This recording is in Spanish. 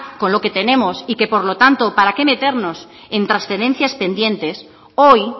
con lo que tenemos y que por lo tanto para qué meternos en transferencias pendientes hoy